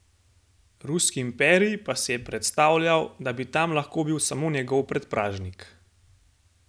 Ruski imperij pa si je predstavljal, da bi tam lahko bil samo njegov predpražnik!